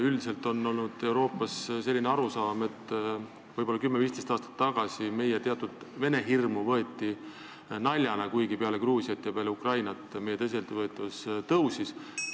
Üldiselt on Euroopas olnud selline arusaam, et 10–15 aastat tagasi võeti meie teatud Vene-hirmu naljana, kuigi peale Gruusia ja Ukraina sündmusi meie tõsiseltvõetavus suurenes.